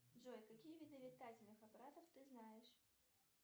джой какие виды летательных аппаратов ты знаешь